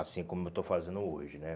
Assim como eu estou fazendo hoje, né?